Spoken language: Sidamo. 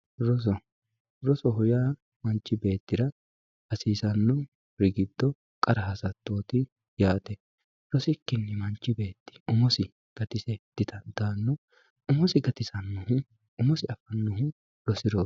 Rosoho yaa manchi beetira hasisanori giddo qara hasatoti yaate rosikini manchi beet umosi gatise didandaano umosi gatisanohu umosi gatisanohu rosiroot